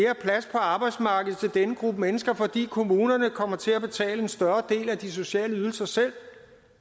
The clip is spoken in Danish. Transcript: på arbejdsmarkedet til denne gruppe mennesker fordi kommunerne kommer til at betale en større del af de sociale ydelser selv